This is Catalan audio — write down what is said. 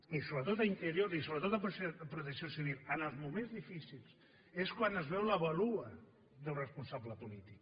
i sobretot a interior i sobretot a protecció civil en els moments difícils és quan es veu la vàlua d’un responsable polític